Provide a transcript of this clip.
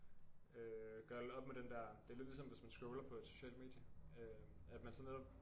Øh gøre lidt op med den der det lidt ligesom hvis man scroller på et socialt medie at man så netop